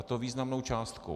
A to významnou částkou.